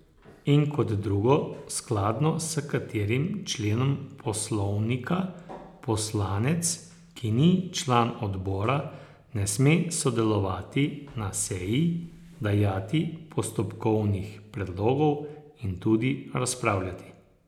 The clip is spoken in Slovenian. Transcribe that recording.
In kot drugo, skladno s katerim členom Poslovnika poslanec, ki ni član odbora, ne sme sodelovati na seji, dajati postopkovnih predlogov in tudi razpravljati.